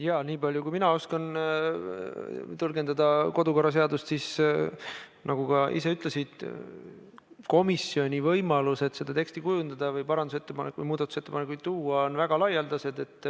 Jaa, nii palju kui mina oskan kodu- ja töökorra seadust tõlgendada, siis nagu sa ka ise ütlesid, on komisjoni võimalused teksti kujundada või muudatusettepanekuid teha väga laialdased.